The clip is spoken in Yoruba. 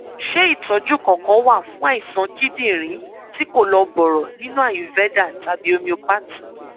ṣé ìtọjú kankan wà fún àìsàn kíndìnrín tí kò lọ bọrọ nínú ayurveda tàbí homeopathy